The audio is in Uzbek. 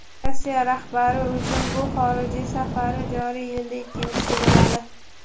Rossiya rahbari uchun bu xorijiy safari joriy yilda ikkinchisi bo‘ladi.